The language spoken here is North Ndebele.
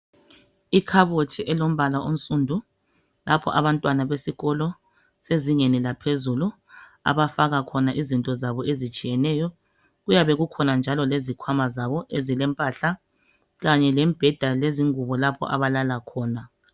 Ikhabothi elombala onsundu lapho abantwana besikolo zezingeni laphezulu abafaka khona izinto zabo ezitshiyeneyo kuyabe kukhona njalo lezikhwama zabo ezilempahla kanye lemibheda lezingubo lapho abalala khona.